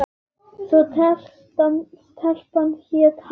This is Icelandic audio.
Svo stelpan hét Halla.